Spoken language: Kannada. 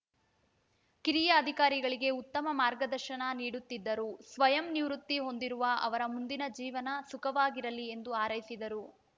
ಕಿರಿಯ ಅಧಿಕಾರಿಗಳಿಗೆ ಉತ್ತಮ ಮಾರ್ಗದರ್ಶನ ನೀಡುತ್ತಿದ್ದರು ಸ್ವಯಂ ನಿವೃತ್ತಿ ಹೊಂದಿರುವ ಅವರ ಮುಂದಿನ ಜೀವನ ಸುಖಕರವಾಗಿರಲಿ ಎಂದು ಹಾರೈಸಿದರು